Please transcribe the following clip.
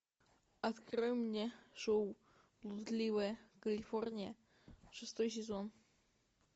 открой мне шоу блудливая калифорния шестой сезон